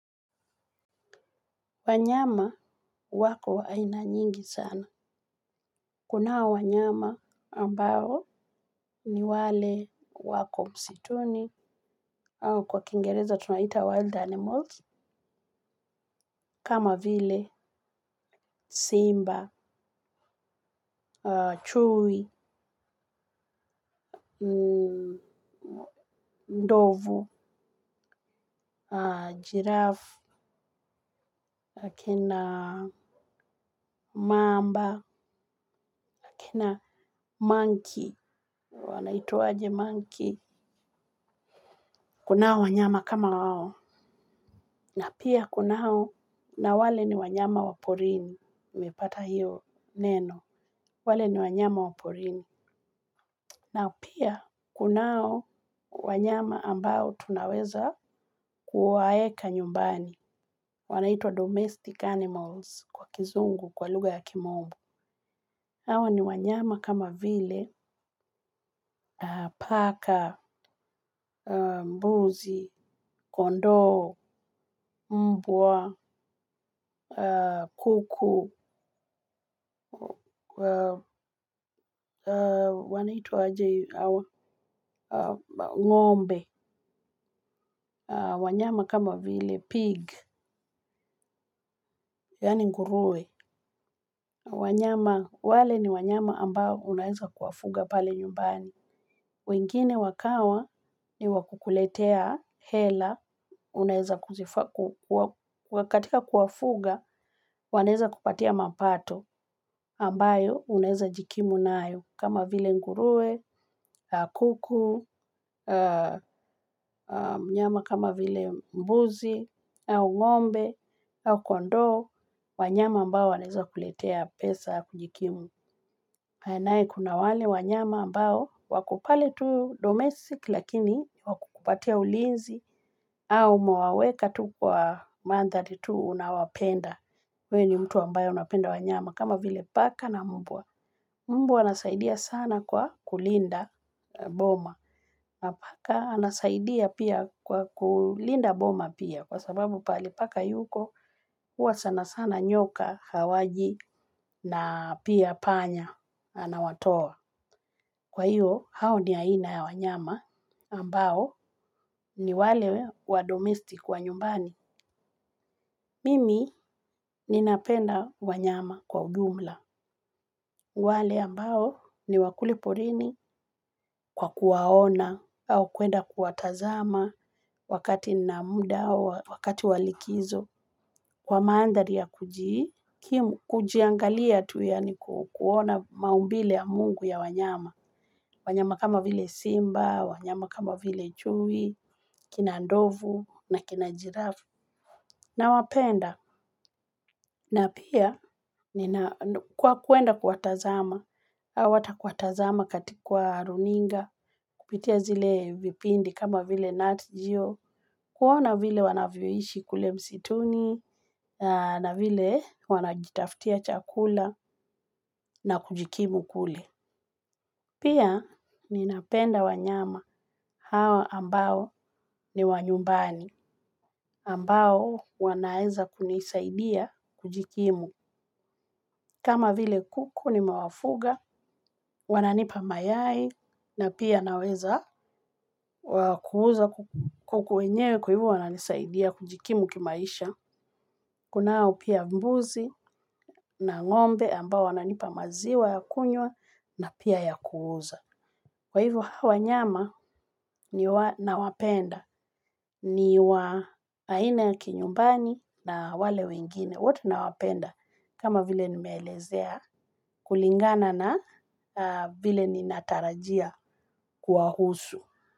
Wanyama wako aina nyingi sana. Kunao wanyama ambao ni wale wako msituni, kwa kingereza tunawaita 'wild animals'. Kama vile, simba, chui, ndovu, jirafu. Kina mamba, kina 'monkey'. Wanaitsaje monkey? Kuna wanyama kama hao. Na pia kunao, na wale ni wanyama wa porini, umepata hiyo neno, wale ni wanyama wa porini, na pia, kunao wanyama ambao tunaweza kuwaweka nyumbani. Wanaitwa 'domestic animals' kwa lugha ya kimombo. Hawa ni wanyama kama vile, paka, mbuzi, kondoo, mbwa, kuku, wanaitwa aje hawa? Ng'ombe, wanyama kama vile 'pig' yaani nguruwe. Wale ni wanyama ambao unaweza kuwafuga pale nyumbani. Wengine wakawa ni wa kukuletea hela, wa katika kuwafuga, wanaeza kupatia mapato, ambayo unaeza jikimu nayo, kama vile nguruwe, kuku, wanyama kama vile mbuzi, au ng'ombe, kondoo, wanyama ambao wanaeza kuletea pesa kujikimu. Naye kuna wale wanyama ambao wako pale tu 'domestic' lakini ni wa kukupatia ulinzi au umewaweka tu kwa mandhari tu unawapenda. Uwe ni mtu ambaye unapenda wanyama kama vile paka na mbwa. Mbwa anasaidia sana kwa kulinda boma. Na paka anasaidia pia kulinda boma pia kwa sababu pahali paka yuko, huwa sana sana nyoka hawaji na pia panya anawatoa. Kwa hiyo, hao ni aina ya wanyama ambao ni wale wa 'domestic' wa nyumbani. Mimi ninapenda wanyama kwa ujumla. Wale ambao ni wa kule porini, kwa kuwaona au kuenda kuwatazama wakati nina muda au wakati wa likizo, kwa mandhari ya kuji, kujiangalia tu yaani kuona maumbile ya mungu ya wanyama. Wanyama kama vile simba, wanyama kama vile chui, kina ndovu na kina jirafu nawapenda. Na pia, kwa kuenda kuwatazama, au hata kuwatazama kwa runinga, kupitia zile vipindi kama vile 'Natgeo'. Kuwaona vile wanavyoishi kule msituni, na vile wanajitafutia chakula na kujikimu kule. Pia ninapenda wanyama hawa ambao ni wa nyumbani, ambao wanaeza kunisaidia kujikimu. Kama vile kuku nimewafuga, wananipa mayai, na pia naweza kuuza kuku wenyewe. Kwa hivo wananisaidia kujikimu kimaisha. Kunao pia mbuzi na ngombe ambao wananipa maziwa ya kunywa na pia ya kuuza. Kwa hivo hawa nyama nawapenda, niwa aina ya kinyumbani na wale wengine, wote nawapenda. Kama vile nimelezea, kulingana na vile ninatarajia kuwahusu.